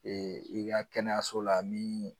i ka kɛnɛyaso la min